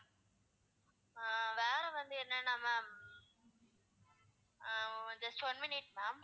அஹ் வேற வந்து என்னன்னா ma'am uh just one minute ma'am